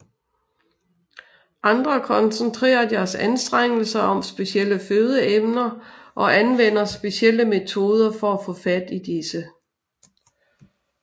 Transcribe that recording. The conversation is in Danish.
Andre koncentrerer deres anstrengelser om specielle fødeemner og anvender specielle metoder for at få fat i disse